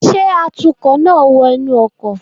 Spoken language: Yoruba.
Ṣe atukọ naa wọ inu ọkọ